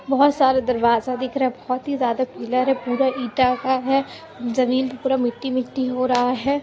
बहुत सारे दरवाज दिख रहा है बहुत ही ज्यादा पिलर हैं पुरा एटा का है जमीन पर पूरा मिट्टी मिट्टी हो रहा है।